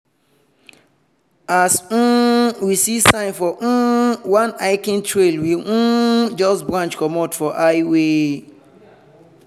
as um we see sign for um one hiking trail we um just branch comot for highway.